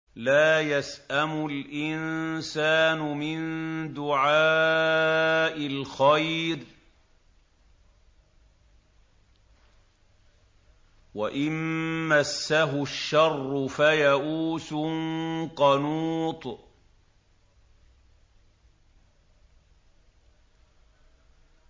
لَّا يَسْأَمُ الْإِنسَانُ مِن دُعَاءِ الْخَيْرِ وَإِن مَّسَّهُ الشَّرُّ فَيَئُوسٌ قَنُوطٌ